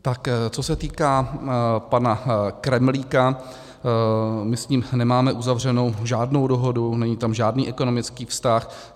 Tak co se týká pana Kremlíka, my s ním nemáme uzavřenou žádnou dohodu, není tam žádný ekonomický vztah.